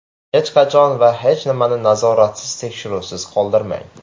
Hech qachon va hech nimani nazoratsiz, tekshiruvsiz qoldirmang.